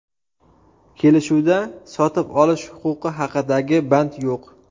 Kelishuvda sotib olish huquqi haqidagi band yo‘q.